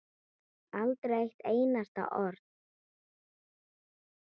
Aldrei eitt einasta orð.